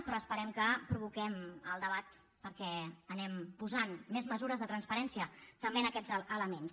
però esperem que provoquem el debat perquè anem posant més mesures de transparència també en aquests elements